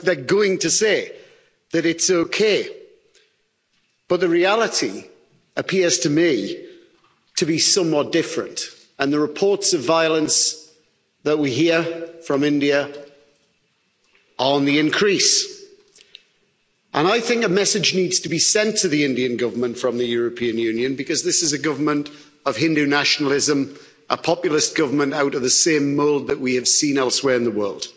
I mean, they're going to say that it's okay, but the reality appears to me to be somewhat different, and the reports of violence that we hear from India are on the increase. I think a message needs to be sent to the Indian Government from the European Union because this is a government of Hindu nationalism, a populist government out of the same mold that we have seen elsewhere in the world.